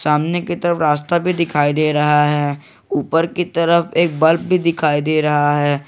सामने की तरफ रास्ता भी दिखाई दे रहा है ऊपर की तरफ एक बल्ब भी दिखाई दे रहा है।